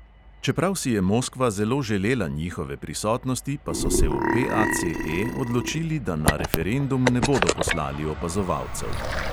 Čeprav si je moskva zelo želela njihove prisotnosti, pa so se v PACE odločili, da na referendum ne bodo poslali opazovalcev.